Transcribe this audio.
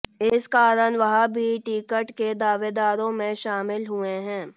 इस कारण वह भी टिकट के दावेदारों में शामिल हुए हैं